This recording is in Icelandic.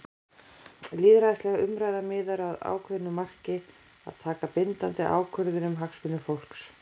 Lýðræðisleg umræða miðar að ákveðnu marki- að taka bindandi ákvörðun um hagsmuni fólks.